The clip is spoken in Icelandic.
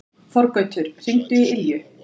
Þorgautur, hringdu í Ylju.